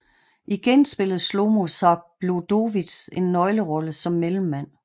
Igen spillede Schlomo Zabludowicz en nøglerolle som mellemmand